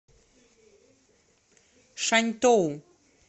шаньтоу